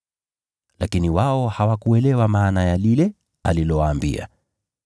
Lakini wao hawakuelewa maana ya lile alilowaambia.